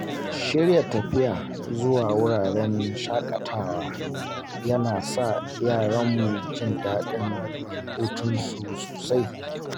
Shirya tafiya zuwa wuraren shaƙatawa yana sa yaranmu jin daɗin hutunsu sosai.